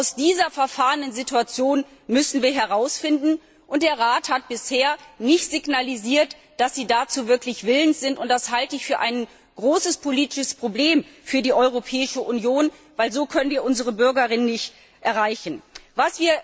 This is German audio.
Aus dieser verfahrenen Situation müssen wir herausfinden, und der Rat hat bisher nicht signalisiert, dass er dazu wirklich willens ist, und das halte ich für ein großes politisches Problem für die Europäische Union, weil wir so unsere Bürgerinnen und Bürger nicht erreichen können.